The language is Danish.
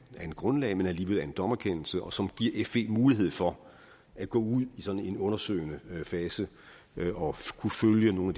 grundlag men som alligevel er en dommerkendelse og som giver fe mulighed for at gå ud i en undersøgende fase og følge nogle